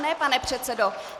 Ne, pane předsedo!